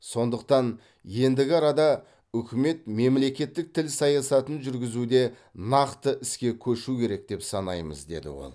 сондықтан ендігі арада үкімет мемлекет тіл саясатын жүргізуде нақты іске көшу керек деп санаймыз деді ол